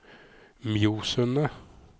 Mjosundet